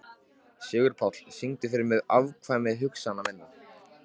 Sigurpáll, syngdu fyrir mig „Afkvæmi hugsana minna“.